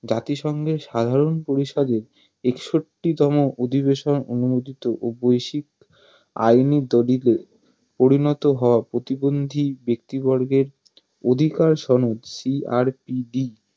জাতিসংঘের সাধারন পরিষদে একষট্টি তম অধিবেশন অনুমোদিত ও বৈশ্বিক আইনি দলিলে পরিণত হওয়া প্রতিবন্ধী ব্যক্তিবর্গের অধিকার সনদ CRPD